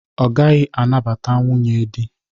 Ọ gaghị anabata nwunye dị.